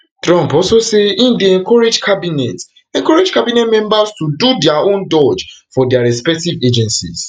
trump also say im dey encourage cabinet encourage cabinet members to do dia own doge for dia respective agencies